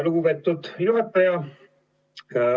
Lugupeetud juhataja!